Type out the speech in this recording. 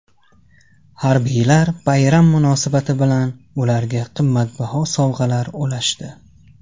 Harbiylar bayram munosabati bilan ularga qimmatbaho sovg‘alar ulashdi.